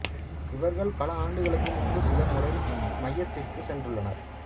இவர்கள் பல ஆண்டுகளுக்கு முன்பு சில முறை இம் மையத்திற்குச் சென்றுள்ளனர்